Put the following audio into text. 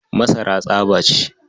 Masara tsaba ce.